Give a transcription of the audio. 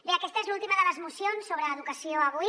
bé aquesta és l’última de les mocions sobre educació avui